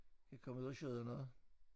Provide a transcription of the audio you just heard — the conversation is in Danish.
Kan komme ud og sjødda noget